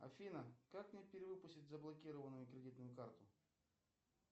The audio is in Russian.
афина как мне перевыпустить заблокированную кредитную карту